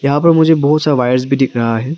यहां पर मुझे बहुत सा वायर्स भी दिख रहा है।